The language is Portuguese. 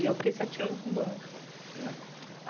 E eu fiquei sete anos com banca, né?